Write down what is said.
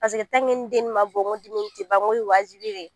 ni den ma bɔ n ko tɛ ban n ko ye wajibi ye